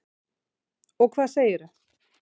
Og hvað segirðu?